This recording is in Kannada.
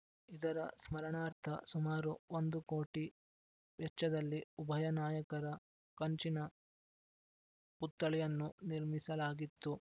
ಇದರ ಸ್ಮರಣಾರ್ಥ ಸುಮಾರು ಒಂದು ಕೋಟಿ ವೆಚ್ಚದಲ್ಲಿ ಉಭಯ ನಾಯಕರ ಕಂಚಿನ ಪುತ್ಥಳಿಯನ್ನು ನಿರ್ಮಿಸಲಾಗಿತ್ತು